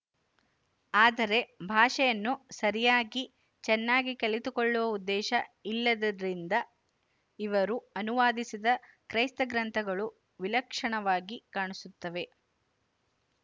ಆದರೆ ಭಾಷೆಯನ್ನು ಸರಿಯಾಗಿ ಚೆನ್ನಾಗಿ ಕಲಿತುಕೊಳ್ಳುವ ಉದ್ದೇಶ ಇಲ್ಲದ್ದರಿಂದ ಇವರು ಅನುವಾದಿಸಿದ ಕ್ರೈಸ್ತಗ್ರಂಥಗಳು ವಿಲಕ್ಷಣವಾಗಿ ಕಾಣಿಸುತ್ತವೆ